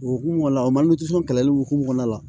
O hukumu kɔnɔna la o kɛlɛli hukumu kɔnɔna la